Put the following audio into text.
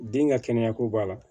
Den ka kɛnɛyako b'a la